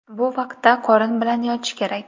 Bu vaqtda qorin bilan yotish kerak.